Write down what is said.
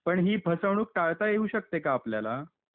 पण हि फसवणूक टाळता येऊ शकते का आपल्याला?